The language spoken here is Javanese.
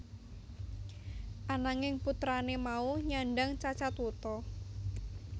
Ananging putrane mau nyandhang cacat wuta